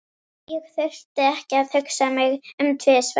Ég þurfti ekki að hugsa mig um tvisvar.